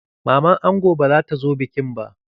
Maman ango ba zata zo bikin ba.